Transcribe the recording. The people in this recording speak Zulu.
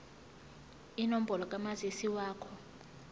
inombolo kamazisi wakho